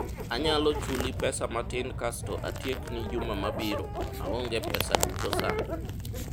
anyalo chuli pesa matin kasto atiekni juma mabiro, aonge pesa duto sani